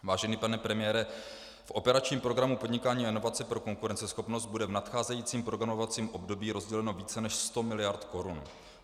Vážený pane premiére, v operačním programu Podnikání a inovace pro konkurenceschopnost bude v nadcházejícím programovacím období rozděleno více než sto miliard korun.